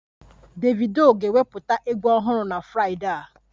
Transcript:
Davido ga-ewepụta egwu ọhụrụ na Fraịdee a